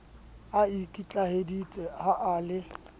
a ikitlaheditse ha e le